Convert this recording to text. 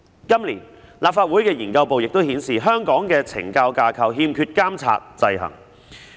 今年，立法會資料研究組的資料顯示，香港的懲教架構欠缺監察制衡。